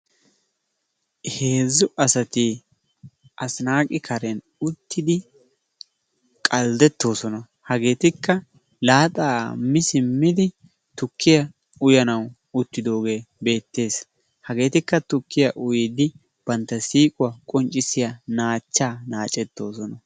Heezzu asati asinaaqi karen uttidi qalddettoosona. Hageetikka laaxaa mi simmidi tukkiya uyanawu uttidoogee beettees. Hageetikka tukkiya uyiiddi bantta siiquwa qonccissiya naachchaa naacettoosona.